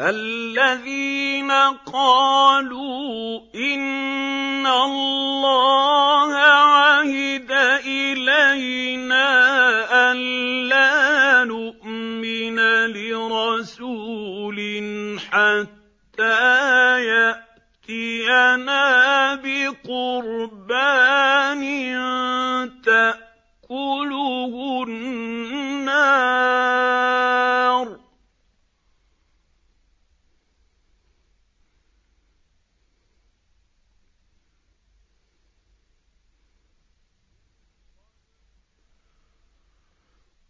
الَّذِينَ قَالُوا إِنَّ اللَّهَ عَهِدَ إِلَيْنَا أَلَّا نُؤْمِنَ لِرَسُولٍ حَتَّىٰ يَأْتِيَنَا بِقُرْبَانٍ تَأْكُلُهُ النَّارُ ۗ